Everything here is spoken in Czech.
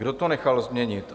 Kdo to nechal změnit?